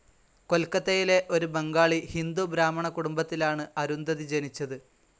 കൊൽക്കത്തയിലെ ഒരു ബംഗാളി ഹിന്ദു ബ്രാഹ്മണകുടുംബത്തിലാണ് അരുന്ധതി ജനിച്ചത്.